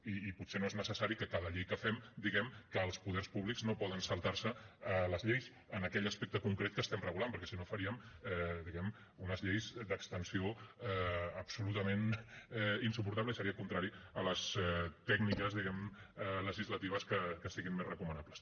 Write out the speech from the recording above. i potser no és necessari que a cada llei que fem diguem que els poders públics no poden saltar se les lleis en aquell aspecte concret que estem regulant perquè si no faríem diguem ne unes lleis d’extensió absolutament insuportable i seria contrari a les tècniques legislatives que siguin més recomanables